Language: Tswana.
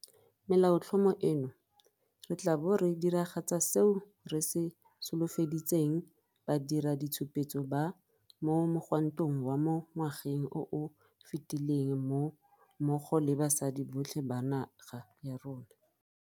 Melaotlhomo eno, re tla bo re diragatsa seo re se solofeditseng badiraditshupetso ba mo mogwantong wa mo ngwageng o o fetileng mmogo le basadi botlhe ba naga ya rona.